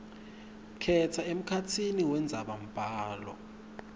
khetsa emkhatsini wendzabambhalo